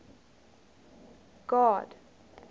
god